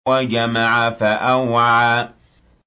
وَجَمَعَ فَأَوْعَىٰ